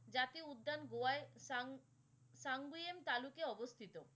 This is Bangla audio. জাতীয় উদ্যান গোয়ায় তালুকে অবস্থিত